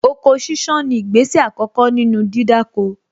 Oko sísán ni ìgbésẹ̀ àkọ́kọ́ nínú dídáko